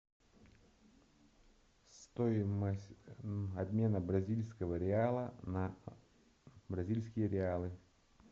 стоимость обмена бразильского реала на бразильские реалы